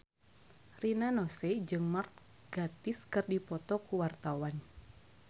Rina Nose jeung Mark Gatiss keur dipoto ku wartawan